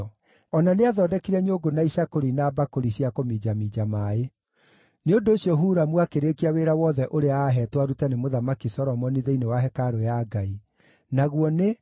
O na nĩathondekire nyũngũ na icakũri na mbakũri cia kũminjaminja maaĩ. Nĩ ũndũ ũcio Huramu akĩrĩkia wĩra wothe ũrĩa aaheetwo arute nĩ Mũthamaki Solomoni thĩinĩ wa Hekarũ ya Ngai, naguo nĩ: